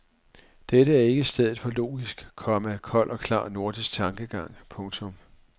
Dette er ikke stedet for logisk, komma kold og klar nordisk tankegang. punktum